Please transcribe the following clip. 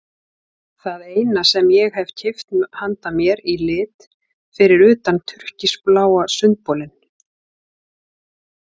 Það eina sem ég hef keypt handa mér í lit fyrir utan túrkisbláa sundbolinn.